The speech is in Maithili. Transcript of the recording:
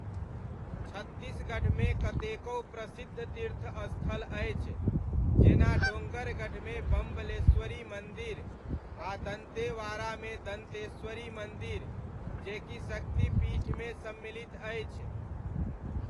छत्तीसगढ़मे कतेकहु प्रसिद्ध तीर्थस्थल अछि, जेना डोङ्गरगढ़मे बम्बलेश्वरी मन्दिर आ दन्तेवाड़ामे दन्तेश्वरी मन्दिर, जे कि शक्तिपीठमे सम्मिलित अछि।